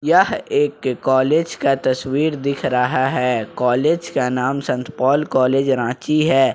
यह एक कॉलेज का तस्वीर दिख रहा है कॉलेज का नाम संत पॉल कॉलेज रांची है ।